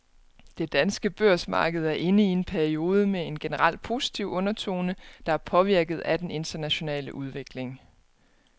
Det danske børsmarked er inde i en periode med en generelt positiv undertone, der er påvirket af den internationale udvikling.